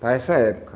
Para essa época.